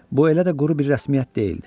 Bu elə də quru bir rəsmiyyət deyildi.